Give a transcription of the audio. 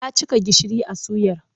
Ya cika gishiri a suyar.